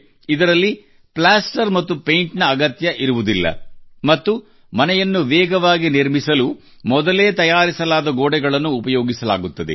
ಇದರಲ್ಲಿ ಪ್ಲಾಸ್ಟರ್ ಮತ್ತು ಪೈಂಟ್ ನ ಅಗತ್ಯವಿರುವುದಿಲ್ಲ ಮತ್ತು ಮನೆಯನ್ನು ವೇಗವಾಗಿ ನಿರ್ಮಿಸಲು ಮೊದಲೆ ತಯಾರಿಸಲಾದ ಗೋಡೆಗಳನ್ನು ಉಪಯೋಗಿಸಲಾಗುತ್ತದೆ